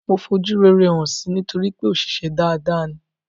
Mo fojú rere hàn si nítorípé òṣìṣę dada ni.